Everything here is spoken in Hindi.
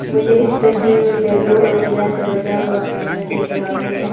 मुझे इस तस्वीर में बम्बू और टीना से बना कमरा दिख रहा है।